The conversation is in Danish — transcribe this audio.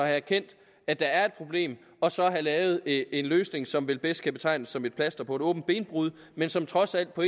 erkendt at der er et problem og så have lavet en løsning som vel bedst kan betegnes som et plaster på et åbent benbrud men som trods alt på